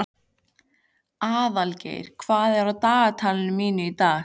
Aðalgeir, hvað er á dagatalinu mínu í dag?